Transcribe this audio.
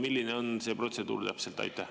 Milline on see protseduur täpselt?